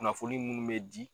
Kunnafoni munnu bɛ di.